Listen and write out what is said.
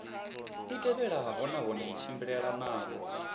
i tevhelelanaho nahone i tshimbilelanaho